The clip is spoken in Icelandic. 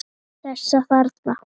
Þessa þarna!